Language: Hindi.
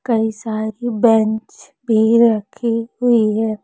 कई सारे की बेंच पे रखी हुई है।